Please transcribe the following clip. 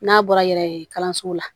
N'a bɔra yɛrɛ kalanso la